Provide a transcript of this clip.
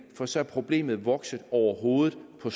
for så er problemet vokset over hovedet på